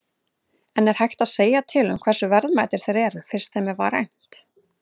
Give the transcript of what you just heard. En er hægt að segja til um hversu verðmætir þeir eru, fyrst þeim var rænt?